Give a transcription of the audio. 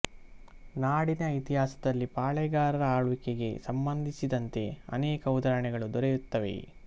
ನಾಡಿನ ಇತಿಹಾಸದಲ್ಲಿ ಪಾಳೇಗಾರರ ಆಳ್ವಿಕೆಗೆ ಸಂಬಂದಿಸಿದಂತೆ ಅನೇಕ ಉದಾಹರಣೆಗಳು ದೊರೆಯುತ್ತವೆ